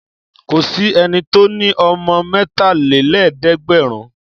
Kò sí ẹni tó ní ọmọ mẹ́talélẹ́ẹ̀dẹ́gbẹ̀rún.